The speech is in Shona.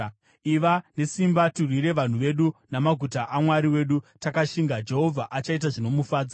Iva nesimba tirwire vanhu vedu namaguta aMwari wedu takashinga. Jehovha achaita zvinomufadza.”